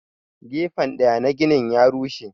Gefen daya na ginin ya rushe.